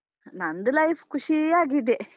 ನಂದು life ಖುಷಿಯಾಗಿದೆ.